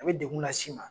A bɛ degun las'i ma